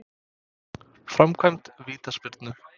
Framkvæmd vítaspyrnu?